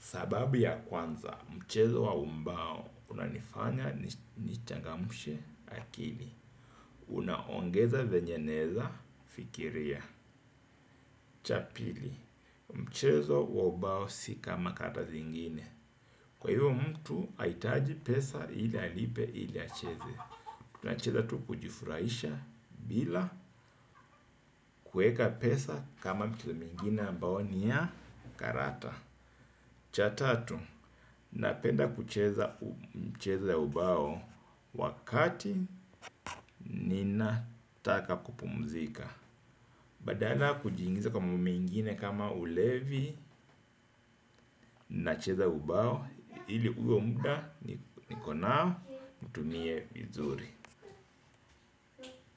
Sababu ya kwanza, mchezo wa ubao unanifanya ni changamshe akili. Unaongeza venye naeza fikiria. Cha pili, mchezo wa ubao si kama kata zingine. Kwa hivyo mtu, aitaji pesa ili alipe ili acheze. Tuna cheza tu kujifurahisha bila kueka pesa kama michezo mingine ambao ni ya karata. Cha tatu, napenda kucheza mchezo ya ubao wakati ninataka kupumzika. Badala kuji ingiza kwa mambo mengine kama ulevi nacheza ubao ili huo muda niko nao nitumie vizuri.